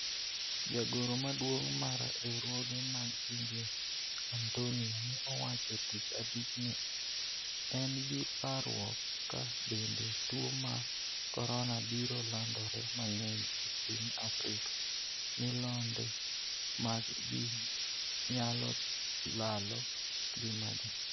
jagoro maduong mar riwruoge mag pinje Antonio ne owacho tich abich ni en gi parruok ka bende tuo mar corona biro landore mang'eny e piny Afrika, milionde mag ji nyalo lalo ngimagi